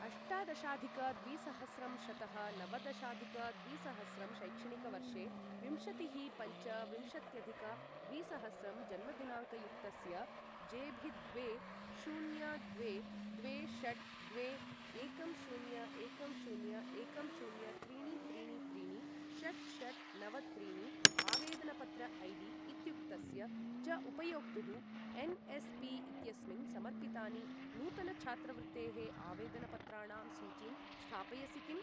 अष्टादशाधिक द्विसहस्रं शतः नवदशाधिक द्विसहस्रं शैक्षणिकवर्षे विंशतिः पञ्च विंशत्यधिक द्विसहस्रं जन्मदिनाङ्कयुक्तस्य जेभिद्वे शून्य द्वे द्वे षट् द्वे एकं शून्य एकं शून्य एकं शून्य त्रीणि त्रीणि त्रीणि षट् षट् नव त्रीणि आवेदनपत्र ऐडी इत्युक्तस्य च उपयोक्तुः एन्.एस्.पी. इत्यस्मिन् समर्पितानि नूतन छात्रवृत्तेः आवेदनपत्राणां सूचीं स्थापयसि किम्?